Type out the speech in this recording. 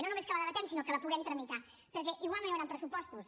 i no només que la debatem sinó que la puguem tramitar perquè igual no hi hauran pressupostos